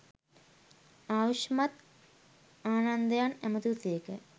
ආයුෂ්මත් ආනන්දයන් ඇමතූ සේක